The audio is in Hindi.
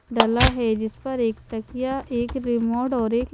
डला है जिस पर एक तकिया एक रिमोड और एक--